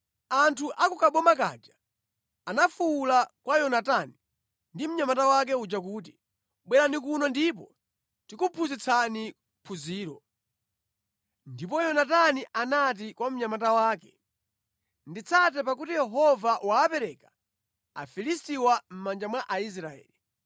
Anthu a ku kaboma kaja anafuwula kwa Yonatani ndi mnyamata wake uja kuti, “Bwerani kuno ndipo tikuphunzitsani phunziro.” Ndipo Yonatani anati kwa mnyamata wake. “Nditsate pakuti Yehova wapereka Afilistiwa mʼmanja mwa Aisraeli.”